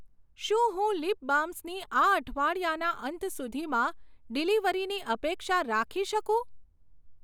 શું હું લીપ બામ્સની આ અઠવાડિયાના અંત સુધીમાં ડિલિવરીની અપેક્ષા રાખી શકું?